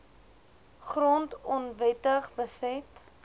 grond onwettig beset